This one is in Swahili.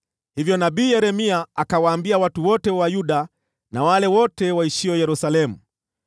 Hivyo nabii Yeremia akawaambia watu wote wa Yuda na wale wote waishio Yerusalemu: